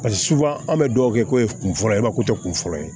Paseke suba an bɛ dugawu kɛ ko ye kunfɔlɔko tɛ kun fɔlɔ ye